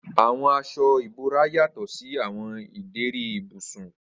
Awọn aṣọ ibora yatọ si awọn ideri ibusun.